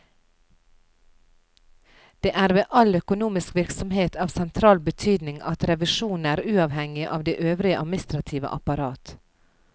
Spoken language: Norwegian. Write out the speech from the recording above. Det er ved all økonomisk virksomhet av sentral betydning at revisjonen er uavhengig av det øvrige administrative apparat.